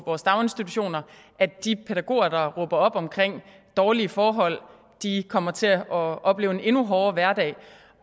vores daginstitutioner i de pædagoger der råber op om dårlige forhold kommer til at opleve en endnu hårdere hverdag